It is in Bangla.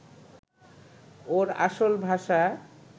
ওর আসল ভাষা